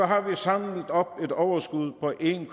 har vi samlet et overskud på en